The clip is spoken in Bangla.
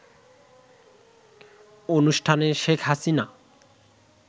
অনুষ্ঠানে শেখ হাসিনা